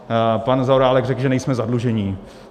Pan Zaorálek řekl, že nejsme zadlužení.